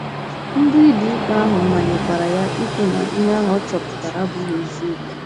Ndị ụlọikpe ahụ manyekwara ya ikwu na ihe ahụ ọ chọpụtara abụghị eziokwu.